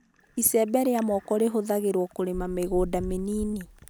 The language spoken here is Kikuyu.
icembe ria mooko rĩhũthagĩrwo kũrĩma mĩgũnda mĩnĩnĩ